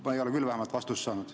Mina ei ole küll vastust saanud.